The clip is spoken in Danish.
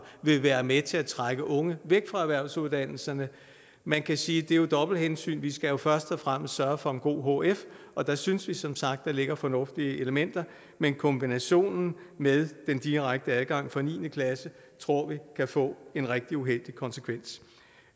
vil være med til at trække unge væk fra erhvervsuddannelserne man kan sige at det jo er dobbelt hensyn vi skal først og fremmest sørge for en god hf og der synes vi som sagt at der ligger fornuftige elementer men kombinationen med den direkte adgang fra niende klasse tror vi kan få en rigtig uheldig konsekvens